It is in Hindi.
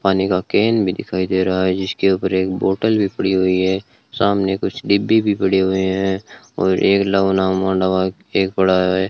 पानी का केन भी दिखाई दे रहा है जिसके ऊपर एक बोतल भी पड़ी हुई है सामने कुछ डिब्बी भी पड़े हुए हैं और एक एक बड़ा है।